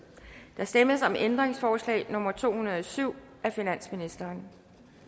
der stemmes om ændringsforslag nummer to hundrede og syv af finansministeren